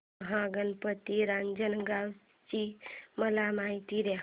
महागणपती रांजणगाव ची मला माहिती दे